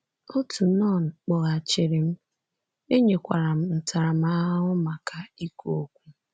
Otu nọn kpọghachiri m, e nyekwara m ntaramahụhụ maka ikwu okwu.